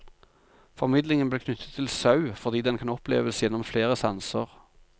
Formidlingen ble knyttet til sau fordi den kan oppleves gjennom flere sanser.